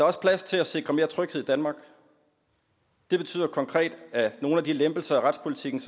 også plads til at sikre mere tryghed i danmark det betyder konkret at nogle af de lempelser af retspolitikken